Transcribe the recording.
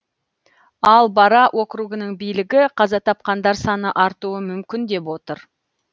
ал бара округының билігі қаза тапқандар саны артуы мүмкін деп отыр